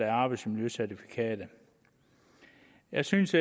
arbejdsmiljøcertifikatet jeg synes